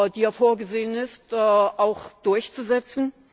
die ja vorgesehen ist, auch durchzusetzen?